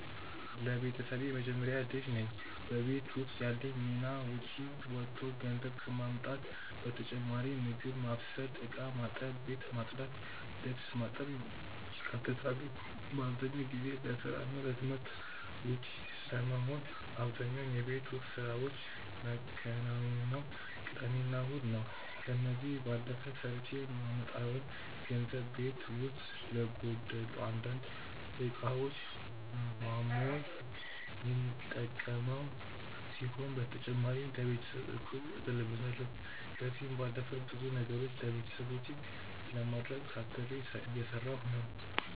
ለቤተሰቤ የመጀመሪያ ልጅ ነኝ። በቤት ውስጥ ያለኝ ሚና ውጪ ወጥቶ ገንዘብ ከማምጣት በተጨማሪ ምግብ ማብሰል፣ እቃ ማጠብ፣ ቤት ማጽዳት፣ ልብስ ማጠብ ይካተታሉ። በአብዛኛው ጊዜ ለስራ እና ለትምህርት ውጪ ስለመሆን አብዛኛውን የቤት ውስጥ ስራዎች መከናውነው ቅዳሜና እሁድ ነው። ከዚህ ባለፈ ሰርቼ ማመጣውን ገንዘብ ቤት ውስጥ ለጎደሉ አንዳንድ እቃዎች ማሞይ የሚጠቀመው ሲሆን በተጨማሪ ለቤተሰብ እቁብ እጥልበታለው። ከዚህም ባለፈ ብዙ ነገሮችን ለቤተሰቦቼ ለማድረግ ታትሬ እየሰራሁ ነው።